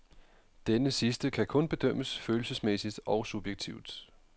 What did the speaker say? Denne sidste kan kun bedømmes følelsesmæssigt og subjektivt.